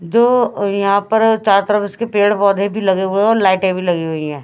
जो यहां पर चारों तरफ इसके पेड़ पौधे भी लगे हुए हैं और लाइटे भी लगे हुए हैं।